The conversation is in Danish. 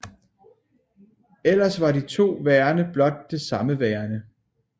Ellers var de to værender blot det samme værende